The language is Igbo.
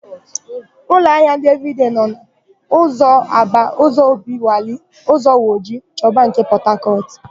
Ụlọahịa ndị Evịrịdei nọ: n'ụzọ Aba, ụzọ Obiwalị, ụzọ Woji, Choba nke Pọtakọtụ.